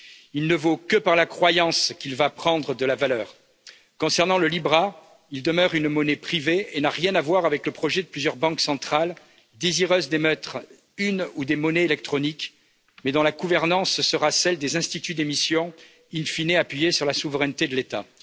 Il ne vaut que par la croyance qu'il va prendre de la valeur. Concernant le Libra, il demeure une monnaie privée et n'a rien à voir avec le projet de plusieurs banques centrales désireuses d'émettre une ou des monnaies électroniques, mais dont la gouvernance sera celle des instituts d'émission, in fine appuyée sur la souveraineté de l'État.